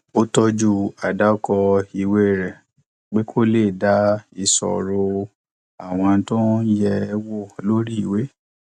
ó tọjú àdàkọ ìwé rẹ pé kó le dá isọro àwọn tó ń yè wò lórí ìwé